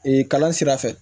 Ee kalan sira fɛ